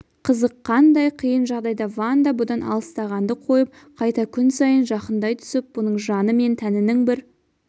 қызық қандай қиын жағдайда ванда бұдан алыстағанды қойып қайта күн сайын жақындай түсіп бұның жаны мен тәнінің бір